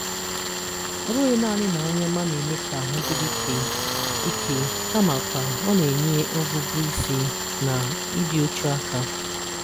Ọ bụghi naanị na nri ọma na-eme ka ahụ dịrị ike, ike, kamakwa ọ na-enye ọgụgụ isi na ịdị uchu aka.